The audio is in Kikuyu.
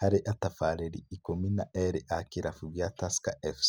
harĩ atabarĩri ikũmi na erĩ a kirabu gĩa Tusker FC.